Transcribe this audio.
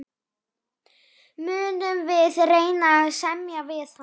Munum við reyna að semja við hann?